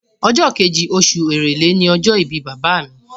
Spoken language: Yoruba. Ọjọ́ kejì, osù èrèlé ni ọjọ́ ìbí bàbá mi